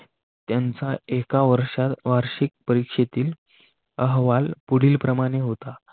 त्यांचा एका वर्षात वार्षिक परीक्षेतील अहवाल पुढील प्रमाणे होता.